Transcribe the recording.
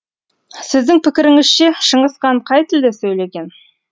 сіздің пікіріңізше шыңғыс хан қай тілде сөйлеген